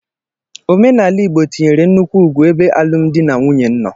Omenala Igbo tinyere nnukwu ugwu ebe alụmdi na nwunye nọ.